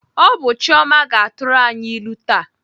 Ọ bụ Chioma ga-atụrụ anyị ilu taa.